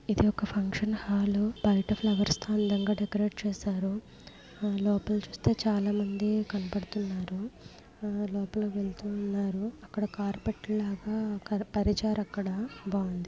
ఇది ఒక function hall . బయట ఫ్లవర్స్ తో అందంగా డెకరేట్ చేశారు. లోపల ఆ చూస్తే చాలామంది కనబడుతున్నారు. ఆ లోపల వెళుతున్నారు. అక్కడ కార్పెట్ లాగా పరిచారు అక్కడ. బాగుంది.